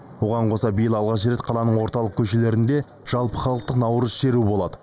оған қоса биыл алғаш рет қаланың орталық көшелерінде жалпыхалықтық наурыз шеруі болады